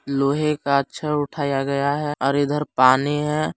लोहे का छड़ उठाया गया है और इधर पानी भी है।